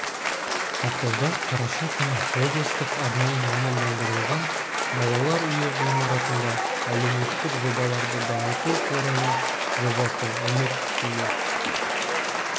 ақтауда қараша күні облыстық арнайы мамандандырылған балалар үйі ғимаратында әлеуметтік жобаларды дамыту қорының жобасы үміт үйі